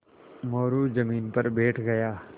मोरू ज़मीन पर बैठ गया